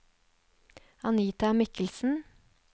Anita Michelsen